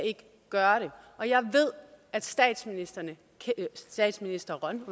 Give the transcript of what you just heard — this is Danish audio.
gøre det og jeg ved at statsministeren statsministeren